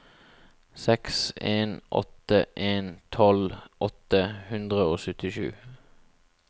seks en åtte en tolv åtte hundre og syttisju